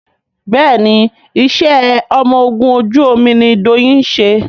Béèni iṣé ọmọ ògún ojú omí ní Doyin ṣe.